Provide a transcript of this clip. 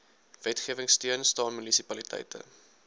wetgewingsteun staan munisipaliteite